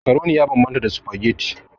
Macaroni ya bambanta da spaghetti.